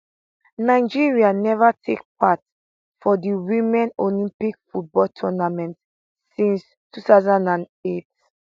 nigeria neva take part for di women olympic football tournament since 2008